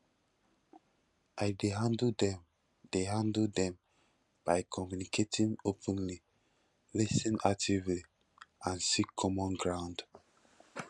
i dey handle dem dey handle dem by communicating openly lis ten actively and seek common ground